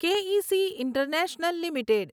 કે A C international limited